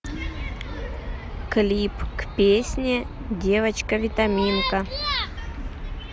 клип к песне девочка витаминка